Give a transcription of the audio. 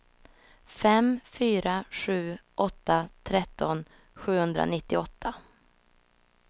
fem fyra sju åtta tretton sjuhundranittioåtta